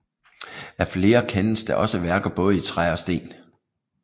Af flere kendes der også værker både i træ og sten